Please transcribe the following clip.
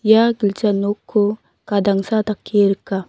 ia gilja nokko gadangsa dake rika.